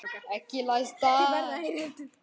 Ekki læstar.